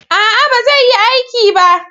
A'a, ba zai yi aiki ba